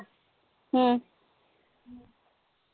हम्म